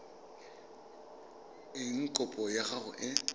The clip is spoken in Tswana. eng kopo ya gago e